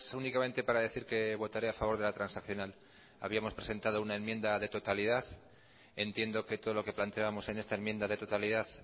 únicamente para decir que votaré a favor de la transaccional habíamos presentado una enmienda de totalidad entiendo que todo lo que planteábamos en esta enmienda de totalidad